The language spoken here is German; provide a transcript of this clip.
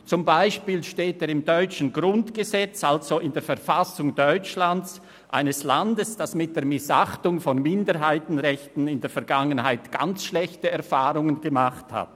Zum Beispiel steht er im deutschen Grundgesetz, also in der Verfassung Deutschlands, eines Landes, das mit der Missachtung von Minderheitsrechten in der Vergangenheit äusserst schlechte Erfahrungen gemacht hat.